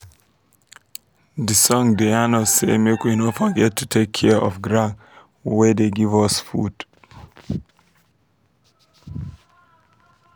de song da yan us say make we no forget to take care of ground wey da give us fod